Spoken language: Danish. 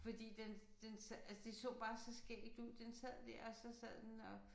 Fordi den den altså det så bare så skægt ud den sad dér og så sad den og